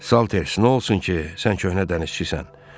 Salters, nə olsun ki, sən köhnə dənizçisən.